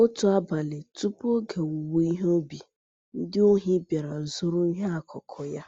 Otu abalị tupu oge owuwe ihe ubi, ndị ohi bịara zuru ịhe akụkụ ya.